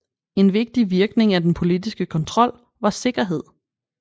En vigtig virkning af den politiske kontrol var sikkerhed